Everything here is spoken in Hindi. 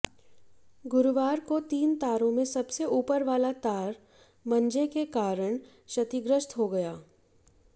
गुरुवार को तीन तारों में सबसे ऊपर वाला तार मंझे के कारण क्षतिग्रस्त हो गया